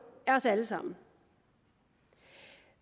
af os alle sammen